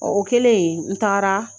Ɔn o kɛlen n taara